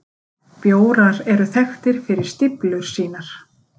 Bjórar eru þekktir fyrir stíflur sínar.